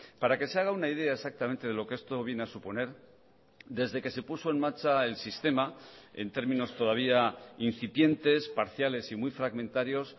para que se haga una idea exactamente de lo que esto viene a suponer desde que se puso en marcha el sistema en términos todavía incipientes parciales y muy fragmentarios